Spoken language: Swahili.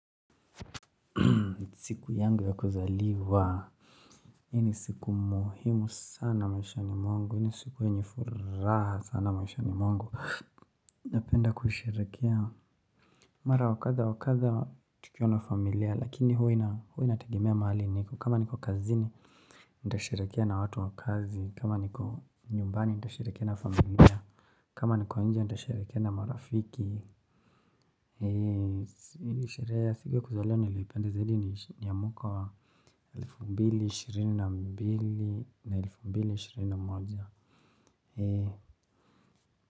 Siku yangu ya kuzaliwa, ni siku muhimu sana maishani mwangu, ni siku yenye furaha sana maishani mwangu Napenda kuisherehekea, mara wakadha wakdha tukiwa na familia, lakini huwa inategemea mahali niko kama niko kazini, nitasherehekea na watu wakazi, kama niko nyumbani, nitasherehekea na familia kama niko nje, nitasherehekea na marafiki siku ya kuzaliwa niliipenda zaidi ni ya mwaka 2022na 2021.